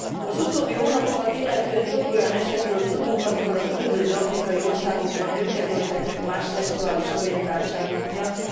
Az utóbbi hónapokat illetően több olyan esetről tudunk, amikor a különböző afrikai országokban nőket öltek meg más szexuális orientáltságuk miatt.